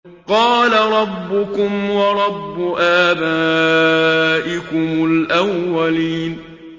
قَالَ رَبُّكُمْ وَرَبُّ آبَائِكُمُ الْأَوَّلِينَ